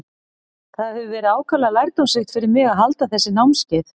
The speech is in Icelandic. Það hefur verið ákaflega lærdómsríkt fyrir mig að halda þessi námskeið.